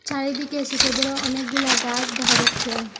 চারিদিকে সোট বড় অনেকগুলা গাস দেখা যাচ্ছে।